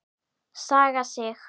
Saga Sig.